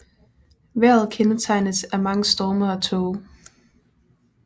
Vejret kendetegnes af mange storme og tåge